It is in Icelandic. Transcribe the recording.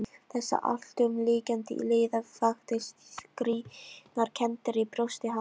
Þessi alltumlykjandi iða vakti skrýtnar kenndir í brjósti hans.